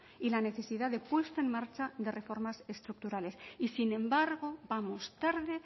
y la necesidad de puesta en marcha de reformas estructurales y sin embargo vamos tarde